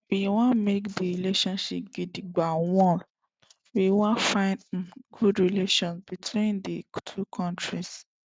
we wan make di relationship gidigba wia we wan find um good relations between di two kontris